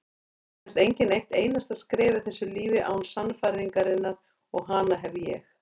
Það kemst enginn eitt einasta skref í þessu lífi án sannfæringarinnar og hana hef ég.